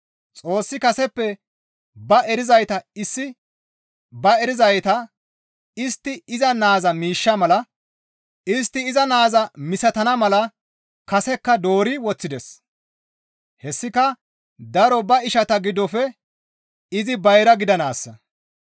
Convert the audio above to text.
Xoossi kaseppe ba erizayta istti iza naaza misatana mala kasekka doori woththides; hessika daro ba ishata giddofe izi bayra gidanaassa.